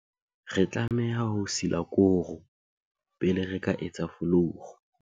re tlameha ho sila koro pele re ka etsa folouru